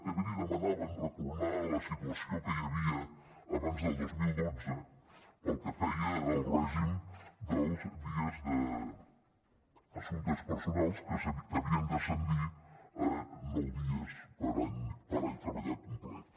també li demanaven retornar a la situació que hi havia abans del dos mil dotze pel que feia al règim dels dies d’assumptes personals que havien d’ascendir a nou dies per any treballat complet